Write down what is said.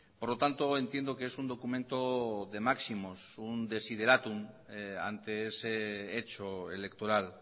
por lo tanto entiendo que es un documento de máximos un desiderátum ante ese hecho electoral